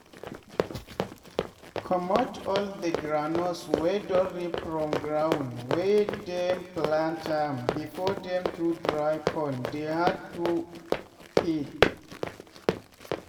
comot all the groundnuts wey don ripe from ground wey dem plant am before dem too dry con dey hard to peel.